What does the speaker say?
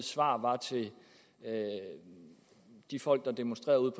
svar var til de folk der demonstrerede